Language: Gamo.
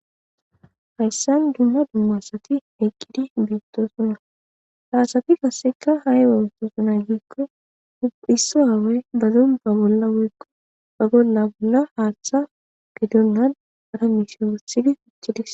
hayssan dumma dummassati eqqidi biittosona haasati kasseka ha7i ba wustoo suna giikko u hisso haawe ba dumba bolla woykko ba bolla bolla haaththa geddonnan ara miso wossidi pichidis